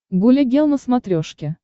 гуля гел на смотрешке